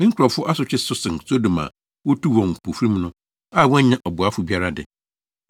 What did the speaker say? Me nkurɔfo asotwe so sen Sodom a wotuu wɔn mpofirim no, a wɔannya ɔboafo biara de.